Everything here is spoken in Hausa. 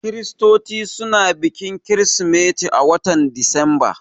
Kiristoci suna bikin kirismeti a watan Disamba